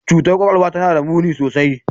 Cutar kwakwalwa tana da muni sosai.